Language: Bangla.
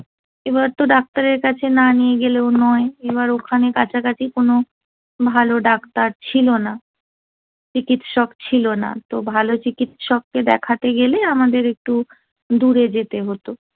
এবার তো ডাক্তারের কাছে না নিয়ে গেলেও নয় এবার ওখানে কাছাকাছি কোন ভালো ডাক্তার ছিল না চিকিৎসক ছিল না তো ভালো চিকিৎসককে দেখাতে গেলে আমাদের একটু দূরে যেতে হতো